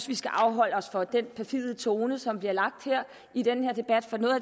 vi skal afholde os fra den perfide tone som bliver lagt i den her debat for noget